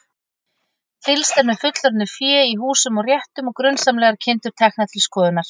Fylgst er með fullorðnu fé í húsum og réttum og grunsamlegar kindur teknar til skoðunar.